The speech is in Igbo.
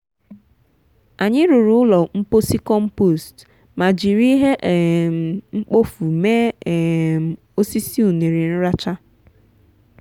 anyị rụrụ ụlọ mposi compost ma jiri ihe um mkpofu mee um osisi ụnere nracha